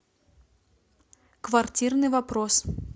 квартирный вопрос